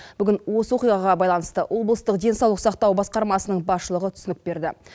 бүгін осы оқиғаға байланысты облыстық денсаулық сақтау басқармасының басшылығы түсінік берді